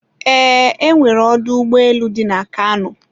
eee, e nwere ọdọ ụgbọelu dị na Kano